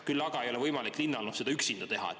Küll aga ei ole võimalik linnal seda üksinda teha.